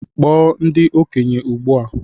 Kpọọ ndị okenye ugbu a!